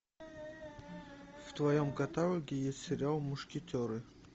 в твоем каталоге есть сериал мушкетеры